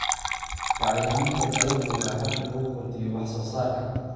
Bacriminta dalaggu waa hab lagu kordhiyo wax soo saarka.